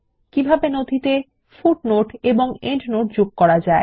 কিভাবে নথিতে পাদটীকা এবং প্রান্তটীকা যোগ করা যায়